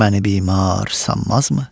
Məni bimar sanmazmı?